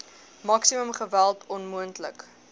maksimum geweld onmoontlik